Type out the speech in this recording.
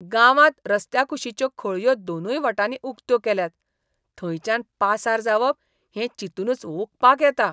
गांवांत रस्त्या कुशिच्यो खळयो दोनूय वटांनी उक्त्यो केल्यात. थंयच्यान पासार जावप हें चिंतूनच ओंकपाक येता.